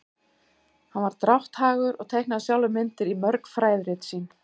hann var drátthagur og teiknaði sjálfur myndir í mörg fræðirit sín